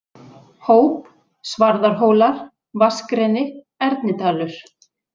Hóp, Svarðarhólar, Vatnsgreni, Ernidalur